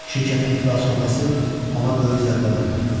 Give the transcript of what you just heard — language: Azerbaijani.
Şirkətin iflas olması ona böyük zərbə vurdu.